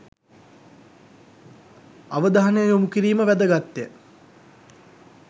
අවධානය යොමු කිරීම වැදගත්ය.